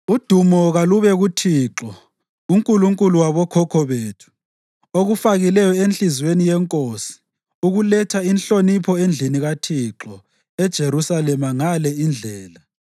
Udumo kalube kuThixo, uNkulunkulu wabokhokho bethu, okufakileyo enhliziyweni yenkosi ukuletha inhlonipho endlini kaThixo eJerusalema ngale indlela